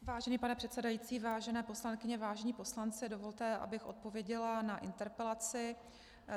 Vážený pane předsedající, vážené poslankyně, vážení poslanci, dovolte, abych odpověděla na interpelaci.